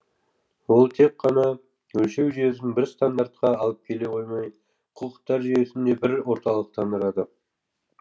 ол тек қана өлшеу жүйесін бір стандартқа алып келе қоймай құқықтар жүйесін де бір орталықтандырады